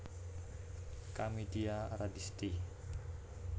Kamidia Radisti